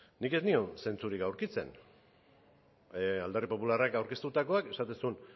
nik ez nion zentzurik aurkitzen alderdi popularrak aurkeztutakoak esaten zuen